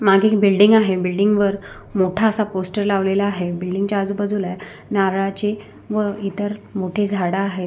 मागे एक बिल्डिंग आहे बिल्डिंग वर मोठा असा पोस्टर लावलेला आहे बिल्डिंग च्या आजूबाजूला नारळाची व इतर मोठी झाड आहेत.